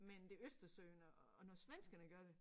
Men det Østersøen og når svenskerne gør det